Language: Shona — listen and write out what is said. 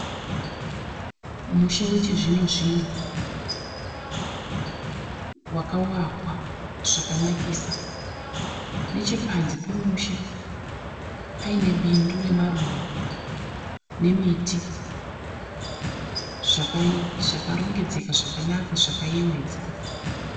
Musha wechizvino zvino wakawakwa zvakanakisa. Nechepanze pemusha paine bindu remaruva nemiti zvakarongedzeka zvakanaka zvakayewedza.